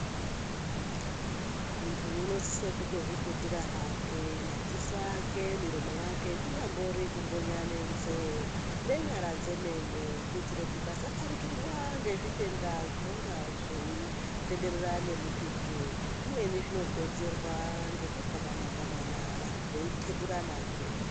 Muntu unosise kutozviputira hake madziso ake miromo yake kunyambori kumbonya nenzee nenyara dzemene. Kuitira kuti asaparikirwa ngezvitenda zvinonga zveitenderera ngemututu zvimweni zvinokonzerwa ngekugwamana-gwamana vantu veikeburanazve.